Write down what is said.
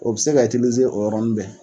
O bi se ka o yɔrɔni bɛɛ.